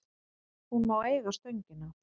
Hún má eiga Stöngina.